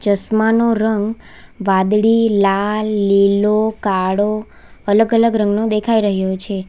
ચાસમાંનો રંગ વાદળી લાલ લીલો કાળો અલગ અલગ રંગનો દેખાય રહ્યો છે.